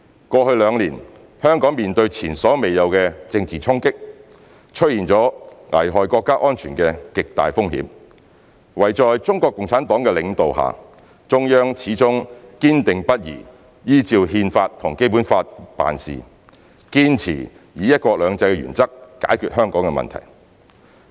過去兩年，香港面對前所未有的政治衝擊，出現了危害國家安全的極大風險，惟在中國共產黨的領導下，中央始終堅定不移依照《憲法》和《基本法》辦事，堅持以"一國兩制"的原則解決香港的問題。